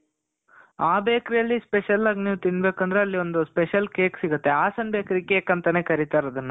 ಆ bakery ಅಲ್ಲಿ special ಆಗ್ ನೀವು ತಿನ್ಬೇಕು ಅಂದ್ರೆ ಅಲ್ಲಿ special cake ಸಿಗುತ್ತೆ. ಹಾಸನ್ bakery cake ಅಂತಾನೆ ಕರಿತಾರದನ್ನ.